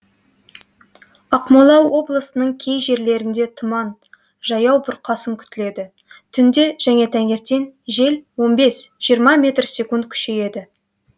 ақмола облысының кей жерлерінде тұман жаяу бұрқасын күтіледі түнде және таңертең жел он бес жиырма метр секунд күшейеді